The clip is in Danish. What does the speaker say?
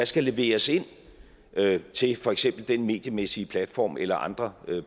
skal leveres ind til for eksempel den mediemæssige platform eller andre